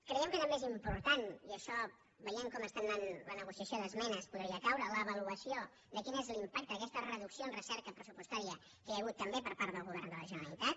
creiem que també és important i això veient com està anant la negociació d’esmenes podria caure l’avaluació de quin és l’impacte d’aquesta reducció en recerca pressupostària que hi ha hagut també per part del govern de la generalitat